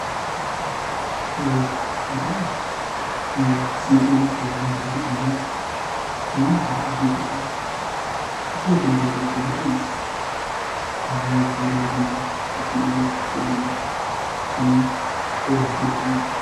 እዙይ ተጋዳላይ ናይ ስንቅን ብዙሕ ነገራትን ብዙሕ ነገራት እንትርኢ ብዙሕ ነገር ዝዕዘብ ዘሎ ይመስል፡፡ እዚ ተጋዳላይ ድማ ካብቶም እዚይ ዝሕጕሶሎም ናይ ክብርኻ ዓዲ እዮ፡፡